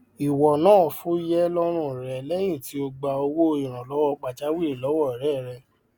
ìwọ náà fuyẹ lọrun re lẹyìn tí o gbà owó ìrànlọwọ pajawìrì lọwọ ọrẹ rẹ